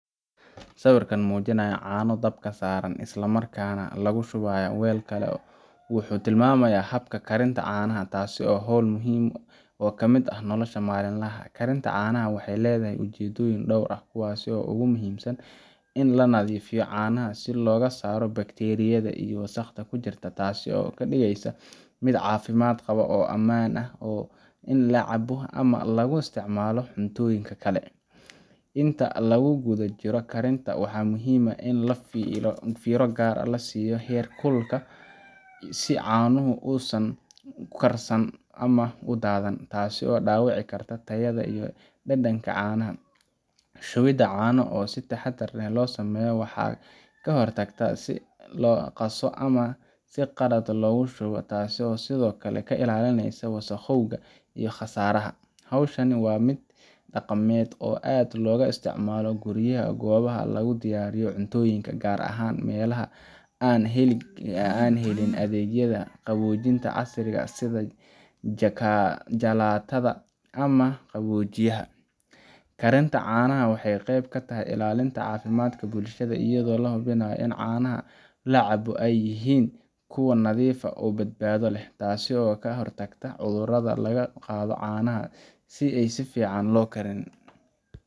Sawirka muujinaya caano oo dabka saaran isla markaana lagu shubayo weel kale wuxuu tilmaamayaa habka karinta caanaha, taasoo ah hawl muhiim ah oo ka mid ah nolosha maalinlaha ah. Karinta caanaha waxay leedahay ujeedooyin dhowr ah, kuwaas oo ugu muhiimsan in la nadiifiyo caanaha si looga saaro bakteeriyada iyo wasakhda ku jirta, taasoo ka dhigaysa mid caafimaad qaba oo ammaan u ah in la cabo ama lagu isticmaalo cuntooyinka kale. Inta lagu guda jiro karinta, waxaa muhiim ah in la fiiro gaar ah siiyo heerkulka si caanuhu uusan u karsan ama u daadan, taasoo dhaawici karta tayada iyo dhadhanka caanaha. Shubidda caanaha oo si taxaddar leh loo sameeyo waxay ka hortagtaa in la qaso ama si qalad ah loo shubo, taasoo sidoo kale ka ilaalinaysa wasakhowga iyo khasaaraha. Hawshan ayaa ah mid dhaqameed oo aad looga isticmaalo guryaha iyo goobaha laga diyaariyo cuntooyinka, gaar ahaan meelaha aan helin adeegyada qaboojinta casriga ah sida jalaatada ama qaboojiyaha. Karinta caanaha waxay qeyb ka tahay ilaalinta caafimaadka bulshada, iyadoo la hubinayo in caanaha la cabo ay yihiin kuwo nadiif ah oo badbaado leh, taasoo ka hortagta cudurada laga qaado caanaha aan si fiican loo kariyin.